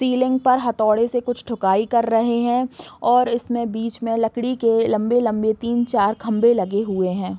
ceiling पर हथोडे से कुछ ठुकाई कर रहे हैं और इसमें बीच में लकड़ी के लम्बे लम्बे तीन चार खम्बे लगे हुए हैं |